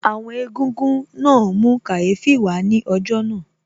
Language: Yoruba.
Àwọn Egúngún náà mú kàyéfì wà á ní ọjọ́ náà